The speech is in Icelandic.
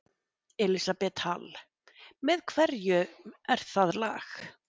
Elísabet Hall: Með hverjum er það lag?